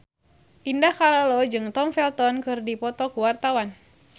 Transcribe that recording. Indah Kalalo jeung Tom Felton keur dipoto ku wartawan